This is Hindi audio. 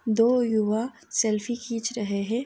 दो क्यूबा सेल्फी खींच रहे है।